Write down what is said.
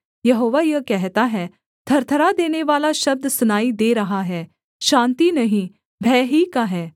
यहोवा यह कहता है थरथरा देनेवाला शब्द सुनाई दे रहा है शान्ति नहीं भय ही का है